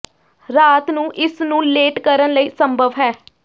ਰਾਤ ਨੂੰ ਇਸ ਨੂੰ ਲੇਟ ਕਰਨ ਲਈ ਸੰਭਵ ਹੈ